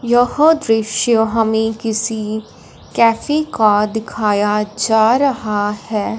यह दृश्य हमें किसी कैफे का दिखाया जा रहा है।